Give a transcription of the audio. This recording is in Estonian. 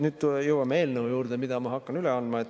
Nüüd me jõuame eelnõu juurde, mida ma hakkan üle andma.